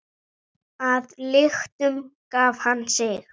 Að lyktum gaf hann sig.